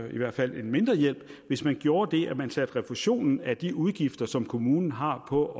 i hvert fald en mindre hjælp hvis man gjorde det at man satte refusionen af de udgifter som kommunen har på at